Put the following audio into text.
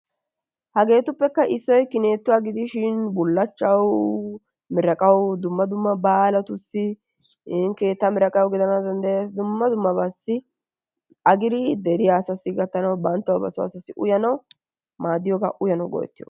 Hageetuppekka issoy kinituwaa gidishin bullachchawu, miraaqawu, dumma dumma baalatussi iin keetta miraqqaw giddana danddayees dumma dummabassi agiri deriyaa asassi gattanaw banttawu ba soo asaassi uyyanaw maaddiyooga, uyyanaw go''ettiyooga.